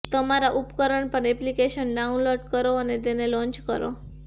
તમારા ઉપકરણ પર એપ્લિકેશન ડાઉનલોડ કરો અને તેને લોંચ કરો